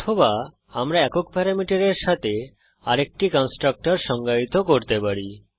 অথবা আমরা একক প্যারামিটারের সাথে আরেকটি কন্সট্রকটর সংজ্ঞায়িত করতে পারি